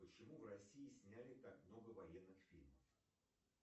почему в россии сняли так много военных фильмов